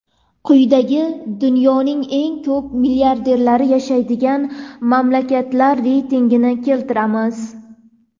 Quyida dunyoning eng ko‘p milliarderlari yashaydigan mamlakatlar reytingini keltiramiz.